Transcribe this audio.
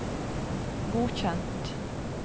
godkjent